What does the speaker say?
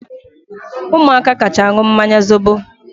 Umuaka kacha aṅụ mmanya zobo